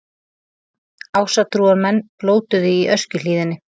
Ásatrúarmenn blótuðu í Öskjuhlíðinni